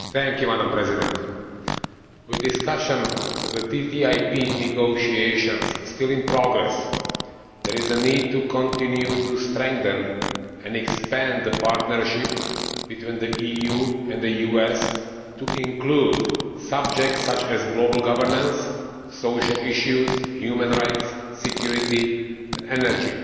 Mr President, with discussions on the TTIP negotiations still in progress, there is a need to continue to strengthen and expand the partnership between the EU and the USA to include subjects such as global governance, social issues, human rights, security and energy.